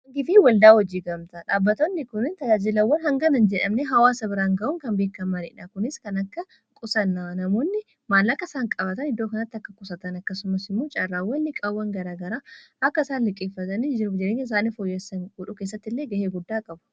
gifii waldaa hojii gamtaa dhaabbatoonni kuni tajaajilawwan hangana hin jedhamne hawaasa biraan ga'uun kan beekkamaniidha kunis kan akka qusannumaallaaqa isaan qabatan iddoo kanati akka qusatan akkasuma immoo caarraa waliigalaa garaa garaa akka isaan liqqeeffatanii jienya isaaniif foyyassan godhu keessatti illee ga'ee guddaa qabu